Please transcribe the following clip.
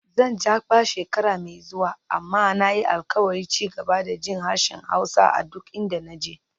Zan Jakpa shekara mai zuwa, amma na yi alkawarin ci gaba da jin harshen Hausa a duk inda na je.